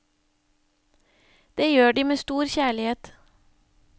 Det gjør de med stor kjærlighet.